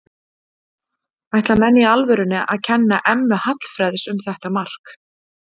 Ætla menn í alvörunni að kenna Emma Hallfreðs um þetta mark?